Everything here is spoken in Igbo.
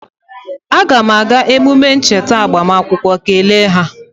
aga m aga emume ncheta agbamakwụkwọ kele ha